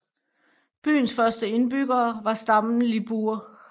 Byens første indbyggere var stammen Libur